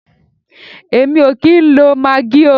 Èmi o kìí ń lo maggi oo.